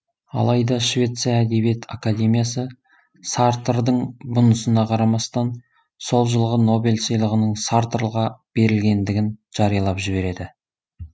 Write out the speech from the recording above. алайда швеция әдебиет академиясы сартрдың бұнысына қарамастан сол жылғы нобель сыйлығының сартрға берілгендігін жариялап жібереді